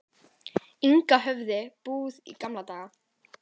Inga höfðu búið í gamla daga.